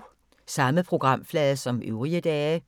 Samme programflade som øvrige dage